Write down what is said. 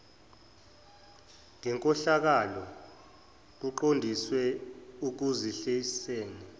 ngenkohlakalo kuqondiswe ekuzehliseni